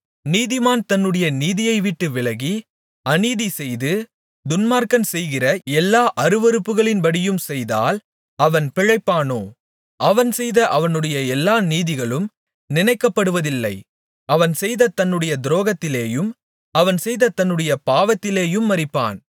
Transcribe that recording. நீதிமான் தன்னுடைய நீதியைவிட்டு விலகி அநீதி செய்து துன்மார்க்கன் செய்கிற எல்லா அருவருப்புகளின்படியும் செய்தால் அவன் பிழைப்பானோ அவன் செய்த அவனுடைய எல்லா நீதிகளும் நினைக்கப்படுவதில்லை அவன் செய்த தன்னுடைய துரோகத்திலேயும் அவன் செய்த தன்னுடைய பாவத்திலேயும் மரிப்பான்